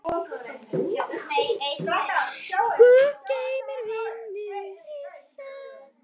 Guð geymi vininn minn Frissa.